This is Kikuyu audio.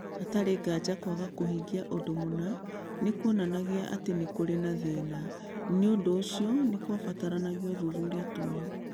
Hatarĩ nganja, kwaga kũhingia ũndũ mũna nĩ kuonanagia atĩ nĩ kũrĩ na thĩna, Nĩ ũndũ ũcio nĩ kwabataranagia ũthuthuria ta ũyũ.